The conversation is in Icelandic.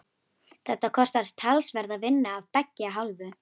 Þetta kostar talsverða vinnu af beggja hálfu.